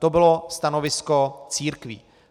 To bylo stanovisko církví.